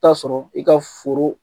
I t'a sɔrɔ i ka foro